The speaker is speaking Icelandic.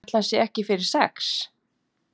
Ætli hann sé ekki fyrir sex?